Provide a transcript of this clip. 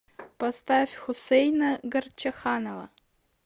поставь хусейна горчаханова